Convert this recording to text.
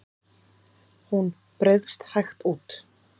Hún breiðst hægt út.